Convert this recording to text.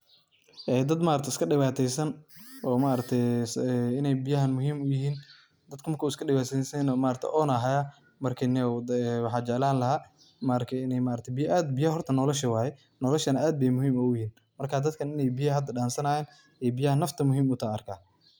Dad iskadhibaataysan oo inay biyahan muhiim u yihiin, dadka marka iskadhibataysanyahaynah oon ayaa hayaa. Marka niyow, waxaan jeclaan lahaa inay biyaha aad, biyaha horta noolasha waay, noolashana aad bay muhiim uguyihiin. Marka, dadka inay biyaha hada dhansanayaan, biyaha nafta muhiim utahay u arka.